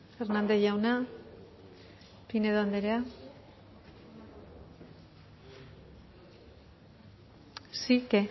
hernández jauna pinedo anderea sí qué